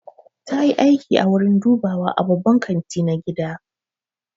Ta yi aiki a wurin dubawa a babban kanti na gida.